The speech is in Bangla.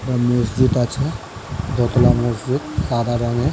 একটা মসজিদ আছে দোতলা মসজিদ সাদা রঙের ।